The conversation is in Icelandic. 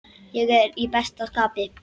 Ég er í besta skapi.